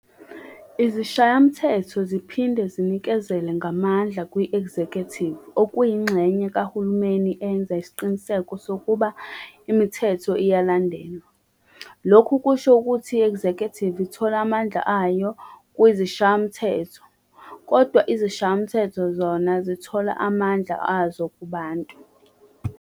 Izishayamthetho ziphinde zinikezele ngamandla kwi"-executive" okuyi inxenye kahulumeni eyenza isiqiniseko sokuba imithetho iyalandelwa. Lokhu kusho ukuthi i-"executive" ithola amandla wayo kwizishayamthetho, kodwa izishayamthetho zona zithola amandla wazo kubantu.